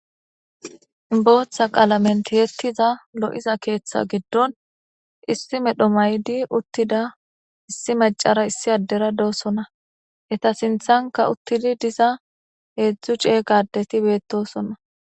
Botha qalamen tiyetida lo'iza ketha gidon issi medho mayid uttida issi macara issi adera dosona . Eta sinthanka utid diza hezdu cega adeti betosona.